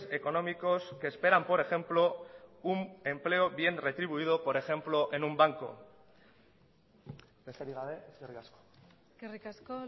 económicos que esperan por ejemplo un empleo bien retribuido por ejemplo en un banco besterik gabe eskerrik asko eskerrik asko